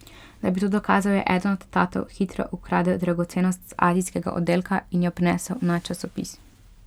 Da bi to dokazal, je eden od tatov hitro ukradel dragocenost z azijskega oddelka in jo prinesel na časopis.